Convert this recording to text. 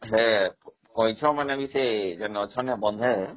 ସେ କଇଁଛମାନେ ବି ସେଠି ଅଛନ୍ତି ବୋଧେ ହଁ